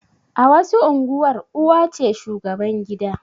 A wasu unguwar uwa ce shugaban gida